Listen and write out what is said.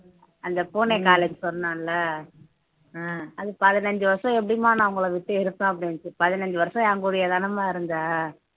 அந்த பூனையை நாளைக்கு சொன்னேன்ல அது பதினஞ்சு வருஷம் எப்படிம்மா நான் உங்களை விட்டு இருப்பேன் அப்படின்னுச்சு பதினஞ்சு வருஷம் என்கூடயேதானம்மா இருந்த